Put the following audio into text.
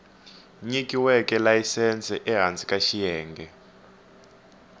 nyikiweke layisense ehansi ka xiyenge